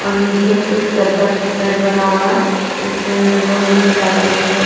और नीचे कुछ चद्दर सेट बना हुआ है इसमें लोहे की जालियों से--